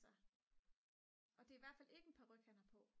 og det er i hvert fald ikke en paryk han har på